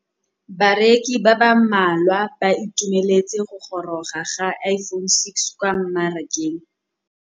Bareki ba ba malwa ba ituemeletse go gôrôga ga Iphone6 kwa mmarakeng.